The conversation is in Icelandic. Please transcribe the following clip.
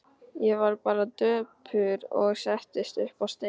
Ég varð bara döpur og settist upp á stein.